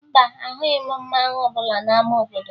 Mba, ahụghị m mmanwụ ọbụla n'ama obodo